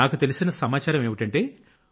నాకు తెలిసిన సమాచారం ఏంటంటే